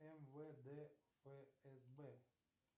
мвд фсб